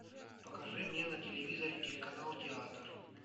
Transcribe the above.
покажи мне на телевизоре телеканал театр